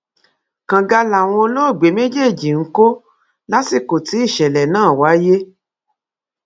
kànga làwọn olóògbé méjèèjì ń kọ lásìkò tí ìṣẹlẹ náà wáyé